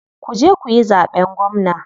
Kuje kuyi zaɓen gwamna.